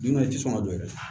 Dunan ti sɔn ka don yɛrɛ